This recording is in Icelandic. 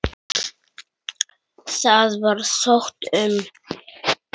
Það var sótt um.